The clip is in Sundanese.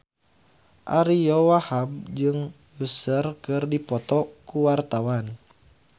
Ariyo Wahab jeung Usher keur dipoto ku wartawan